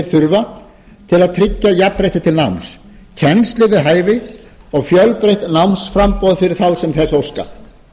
þurfa til að tryggja jafnrétti til náms kennslu við hæfi og fjölbreytt námsframboð fyrir þá sem þess óska